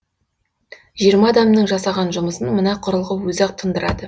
жиырма адамның жасаған жұмысын мына құрылғы өзі ақ тындырады